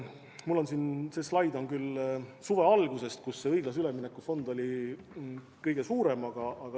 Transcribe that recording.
Mul on siin slaid suve alguse kohta, kui see õiglase ülemineku fond oli kõige suurem.